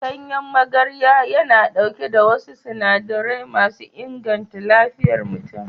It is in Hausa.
Ganyen magarya yana ɗauke da wasu sinadarai masu inganta lafiyar mutum.